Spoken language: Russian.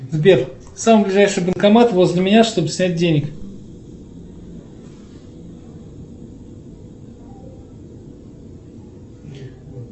сбер самый ближайший банкомат возле меня чтобы снять денег